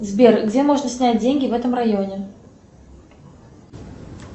сбер где можно снять деньги в этом районе